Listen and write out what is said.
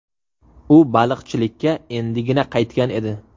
U baliqchilikka endigina qaytgan edi.